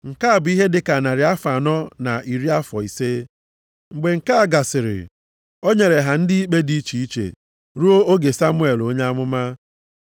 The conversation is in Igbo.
Nke a bụ ihe dị ka narị afọ anọ na iri afọ ise. “Mgbe nke a gasịrị, o nyere ha ndị ikpe dị iche iche ruo oge Samuel onye amụma.